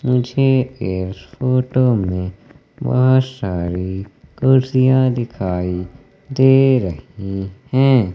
मुझे इस फोटो में बहोत सारी कुर्सियां दिखाई दे रही हैं।